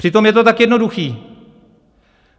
Přitom je to tak jednoduché.